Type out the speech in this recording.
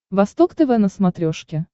восток тв на смотрешке